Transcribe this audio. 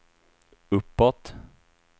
uppåt